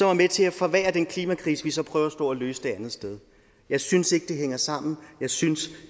er med til at forværre den klimakrise vi så prøver på at løse det andet sted jeg synes ikke det hænger sammen jeg synes